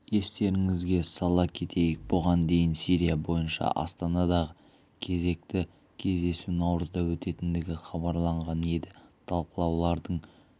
естеріңізге сала кетейік бұған дейін сирия бойынша астанадағы кезекті кездесу наурызда өтетіндігі хабарланған еді ал талқылаулардың